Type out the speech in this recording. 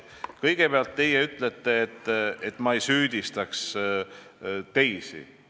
Kõigepealt, te ütlesite, et ma ei peaks süüdistama teisi.